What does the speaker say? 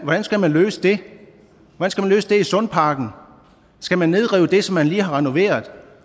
hvordan skal man løse det i sundparken skal man nedrive det som man lige har renoveret